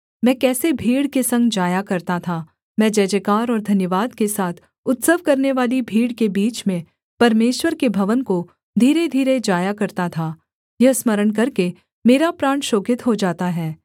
मैं कैसे भीड़ के संग जाया करता था मैं जयजयकार और धन्यवाद के साथ उत्सव करनेवाली भीड़ के बीच में परमेश्वर के भवन को धीरे धीरे जाया करता था यह स्मरण करके मेरा प्राण शोकित हो जाता है